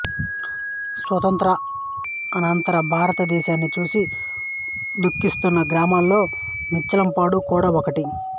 స్వాతంత్య్రానంతర భారత దేశాన్ని చూసి దుఖిస్తున్న గ్రామాల్లో మించాలంపాడు కూడా ఒకటి